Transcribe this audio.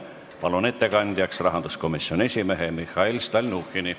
Palun ettekandjaks rahanduskomisjoni esimehe Mihhail Stalnuhhini!